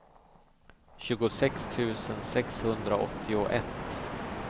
tjugosex tusen sexhundraåttioett